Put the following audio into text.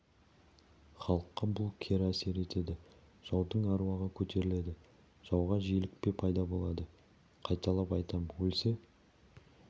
халыққа бұл кері әсер етеді жаудың аруағы көтеріледі жауға желікпе пайда болады қайталап айтам өлсе